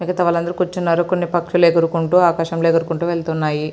మిగితా వలందరు కూర్చున్నారు. కొన్ని పక్షులు ఎగురుకుంటూ ఆకాశం లో ఎకురుకుంటూ వెళ్లిపోతున్నాయి.